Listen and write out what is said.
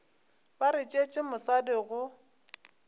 ba re tšeetše mosadi go